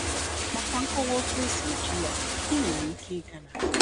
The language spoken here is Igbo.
Maka nkọwa otu esi eji ya, ị nwere ike ịga na: